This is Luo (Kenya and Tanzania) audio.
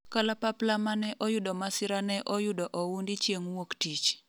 kalapapla mane oyudo masira ne oyudo oundi chieng' wuok tich